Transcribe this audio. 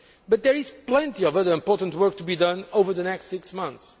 so. But there is plenty of other important work to be done over the next six months.